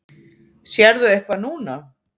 Sérðu eitthvað núna?